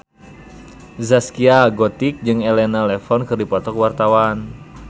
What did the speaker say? Zaskia Gotik jeung Elena Levon keur dipoto ku wartawan